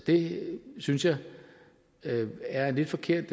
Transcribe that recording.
det synes jeg er en lidt forkert